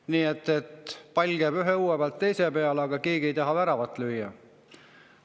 Nii et pall käib ühe õue pealt teise peale, aga keegi ei taha väravat lüüa.